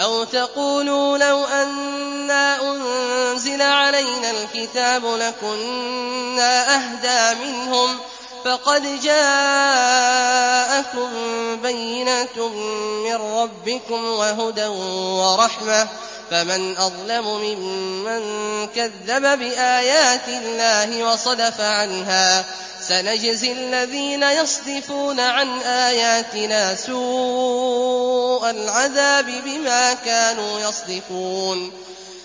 أَوْ تَقُولُوا لَوْ أَنَّا أُنزِلَ عَلَيْنَا الْكِتَابُ لَكُنَّا أَهْدَىٰ مِنْهُمْ ۚ فَقَدْ جَاءَكُم بَيِّنَةٌ مِّن رَّبِّكُمْ وَهُدًى وَرَحْمَةٌ ۚ فَمَنْ أَظْلَمُ مِمَّن كَذَّبَ بِآيَاتِ اللَّهِ وَصَدَفَ عَنْهَا ۗ سَنَجْزِي الَّذِينَ يَصْدِفُونَ عَنْ آيَاتِنَا سُوءَ الْعَذَابِ بِمَا كَانُوا يَصْدِفُونَ